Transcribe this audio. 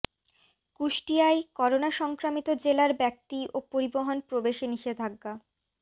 কুষ্টিয়ায় corona সংক্রমিত জেলার ব্যক্তি ও পরিবহন প্রবেশে নিষেধাজ্ঞা